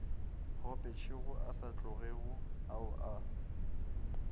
kgopetšego sa tlogego ao a